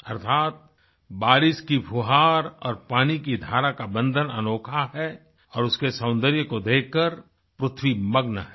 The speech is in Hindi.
अर्थात बारिश की फुहार और पानी की धारा का बंधन अनोखा है और उसके सौंदर्य को देखकर पृथ्वी मग्न है